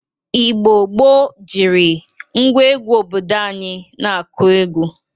Igbo gboo jiri ngwa egwu obodo anyị na-akụ egwu.